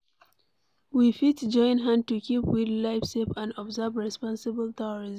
We fit join hand to keep wild life safe and observe responsible tourism